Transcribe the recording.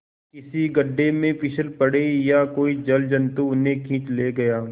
किसी गढ़े में फिसल पड़े या कोई जलजंतु उन्हें खींच ले गया